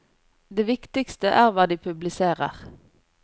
Det viktigste er hva de publiserer.